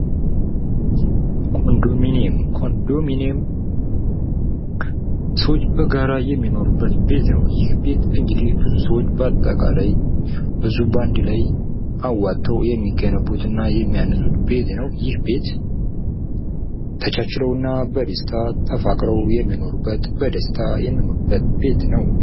ኮንዶምኒየም ።ኮንዶምኒየም ሰዎች በጋራ የሚኖሩበት ቤት ነው ። ይህ ቤት እንግዲህ ብዙ ሰዎች በአጠቃላይ ብዙ በአንድ ላይ አዋጠው የሚገነቡት እና የሚያነሱት ቤት ነው። ይህ ቤት ተቻችለው እና በደስታ ተፋቅረው የሚኖሩበት በደስታ የሚኖሩበት ቤት ነው ።